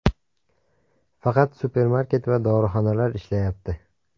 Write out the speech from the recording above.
Faqat supermarket va dorixonalar ishlayapti.